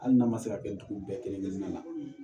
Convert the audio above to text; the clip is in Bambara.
Hali n'a ma se ka kɛ dugu bɛɛ kelen kelenna la